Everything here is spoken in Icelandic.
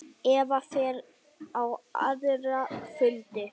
Eva fer á aðra fundi.